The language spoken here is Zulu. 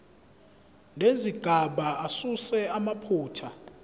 nezigaba asuse amaphutha